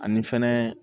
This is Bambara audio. Ani fɛnɛ